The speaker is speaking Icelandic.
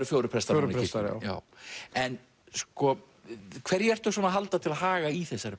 fjórir prestar reyndar en hverju ertu að halda til haga í þessari